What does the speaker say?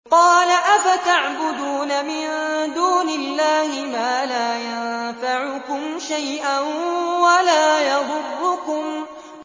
قَالَ أَفَتَعْبُدُونَ مِن دُونِ اللَّهِ مَا لَا يَنفَعُكُمْ شَيْئًا وَلَا يَضُرُّكُمْ